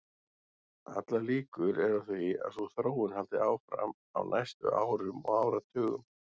Allar líkur eru á því að sú þróun haldi áfram á næstu árum og áratugum.